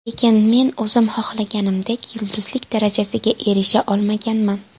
Lekin men o‘zim xohlaganimdek yulduzlik darajasiga erisha olmaganman.